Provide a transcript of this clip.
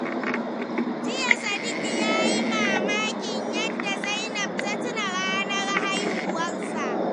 Jiya, Sadiq ya yi mamakin yadda Zainab ta tuna ranar haihuwarsa.